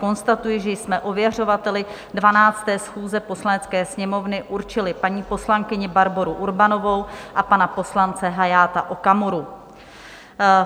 Konstatuji, že jsme ověřovateli 12. schůze Poslanecké sněmovny určili paní poslankyni Barboru Urbanovou a pana poslance Hayata Okamuru.